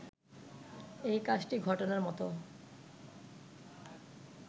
এই কাজটি ঘটানোর মতো